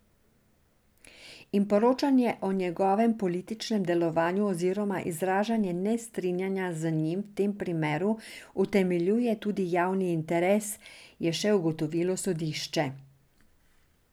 In poročanje o njegovem političnem delovanju oziroma izražanje nestrinjanja z njim v tem primeru utemeljuje tudi javni interes, je še ugotovilo sodišče.